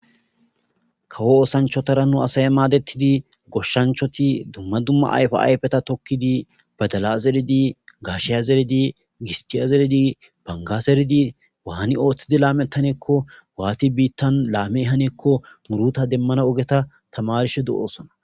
Kawo oosanchatara nu asay maadettidi goshshanchvati dumma dumma ayfa ayfeta tokkidi badala zeridi gaashiya zeridi gistiya zeridi banga zeridi waati laamettanaakko waati biitta laammanaakko waani haniyaakko muuruta demmana ogiya tamarishe doosona.